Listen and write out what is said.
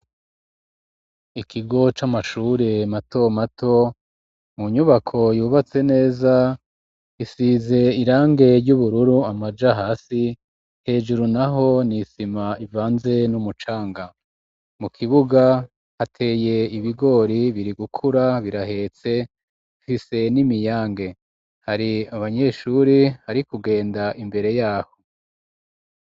Ikigo c'amashure mato mato mu nyubako yubatse neza isize irangi ry'ubururu amaja hasi hejuru naho n'isima ivanze n'umucanga mu kibuga hateye ibigori biri gukura birahetse bifise n'imiyange hari abanyeshuri hari kugenda imbere yaho.